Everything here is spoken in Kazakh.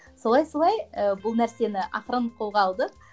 солай солай ы бұл нәрсені ақырын қолға алдық